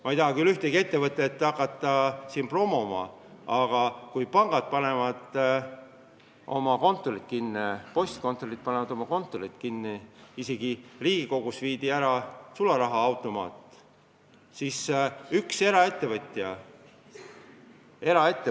Ma ei taha küll hakata siin ühtegi ettevõtet promoma, aga jah, pangad panevad oma kontoreid kinni, isegi Riigikogust viidi sularahaautomaat ära, postkontorid panevad oma kontoreid kinni.